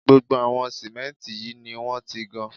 Gbogbo àwọn símẹ́ǹtì yìí ni wọ́n ti gan